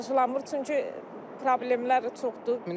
Qarşılanmır, çünki problemlər çoxdur.